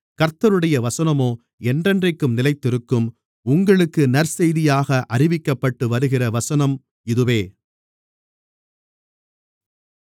கர்த்தருடைய வசனமோ என்றென்றைக்கும் நிலைத்திருக்கும் உங்களுக்கு நற்செய்தியாக அறிவிக்கப்பட்டு வருகிற வசனம் இதுவே